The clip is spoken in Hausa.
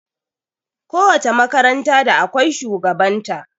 Ko wace makaranta da akwai shugaban ta